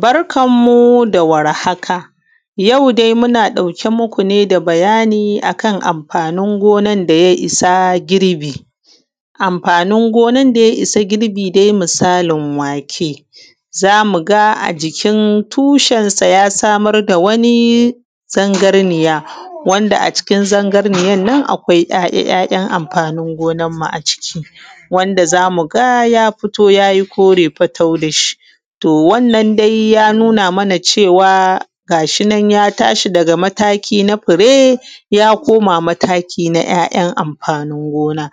Barkan mu da warhaka. Yau dai muna dauke muku ne da bayani akanamfanin gonan daya issa girbi. Amfanin gonar daya issa girbi dai misalin wake, zamuga a jikin tushen sa a samar da zangarniya wanda a cikin zangarniyannan akwai amfanin gonar mu a ciki wanda zamuga ya fito yayi kore fatau dashi. To wannan dai yanu na mana cewa gashinan ya tashi daga mataki na fure ya koma mataki na mafanin gona.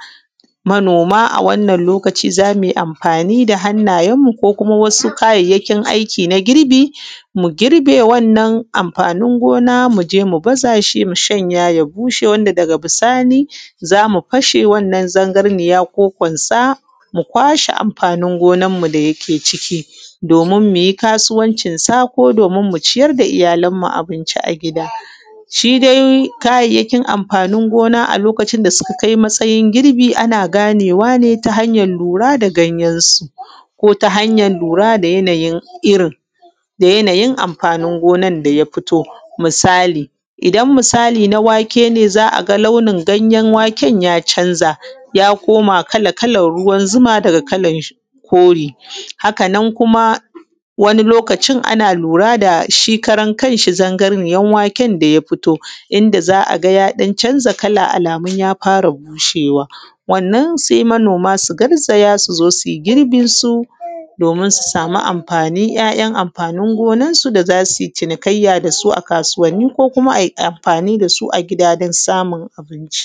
Manoma a wannan lokaci zamuyi amfani da wasu ‘yan’ kayayyakin aiki na girbi mu girbe wannan amfani gona muje mushanya shi ya bushe daga bisani zamu fashe wannan zangarniya ko kwansa mukwashe kayan amfanin gonar mu da yake ciki. Domin muyi kasuwan cinsa ko dominmu ciyar da iyyalan mu a gida shidai kayyakin amfanin gona lokacin da suka kai matsayin girbi ana lira ne ta hanyan lura da ganyen su ko kuma tahanyan lura da irrin yannayin amfanin gonan daya fito. Misali idan misali na wake ne za’aga launin ganyen waken ya canza ya koma kala kalan ruwan zuma daga kore, hakanan kuma wani lokaci ana lura shi kanshi ganyen waken daya fiti inda za’aga ya ɗan canza kala alamun ya fara bushewa, wannan sai manoma suzo sui girbinsu domin su sami amafanin ‘ya’’yan’ amfanin goanna su da zasuyi cinikayya dasu a kasu a kasuwa ko kuma amfani dasu a gida dan samun abinci.